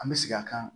An bɛ segin a kan